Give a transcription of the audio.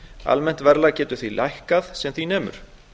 almennt verðlag getur því lækkað sem því nemur